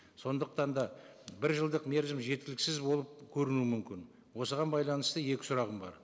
сондықтан да бір жылдық мерзім жеткіліксіз болып көрінуі мүмкін осыған байланысты екі сұрағым бар